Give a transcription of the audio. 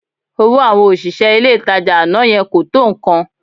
Owó àwọn òṣìṣẹ́ ilé-ìtajà àná yẹn kò tó nǹkan